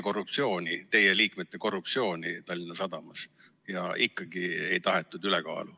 Toona uuriti ju teie liikmete korruptsiooni Tallinna Sadamas, aga ikkagi ei tahetud ülekaalu.